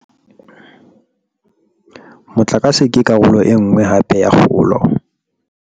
Motlakase ke karolo e nngwe hape ya kgolo.